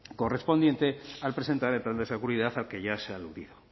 correspondiente al presentar el plan de seguridad al que ya se ha aludido